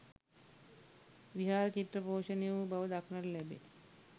විහාර චිත්‍ර පෝෂණය වූ බව දක්නට ලැබේ.